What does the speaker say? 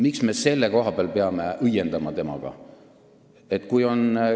Miks me selle koha peal peame nendega õiendama?